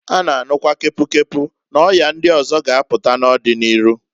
A na anukwa kepu kepu n'ọya ndi ọzọkwa ga apụta n'ọdi n'iru.